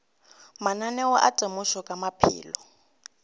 mananeo a temošo ka maphelo